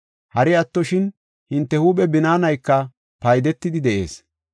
Hari attoshin, hinte huuphe binaanayka paydetidi de7ees.